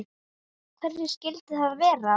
Hverjir skyldu það vera?